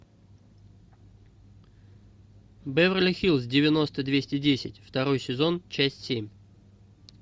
беверли хиллз девяносто двести десять второй сезон часть семь